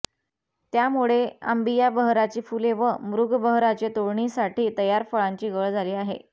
त्यामुळे अांबिया बहराची फुले व मृग बहराची तोडणीसाठी तयार फळांची गळ झाली आहे